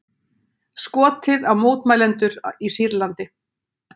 Skotið á mótmælendur í Sýrlandi